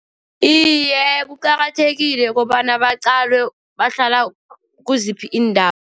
Iye, kuqakathekile kobana baqalwe, bahlala kiziphi iindawo.